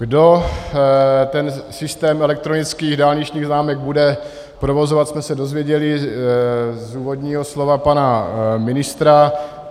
Kdo ten systém elektronických dálničních známek bude provozovat, jsme se dozvěděli z úvodního slova pana ministra.